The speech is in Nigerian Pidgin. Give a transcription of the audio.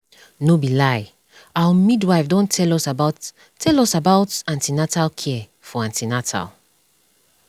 no be lie our midwife don tell us about tell us about an ten atal care for an ten atal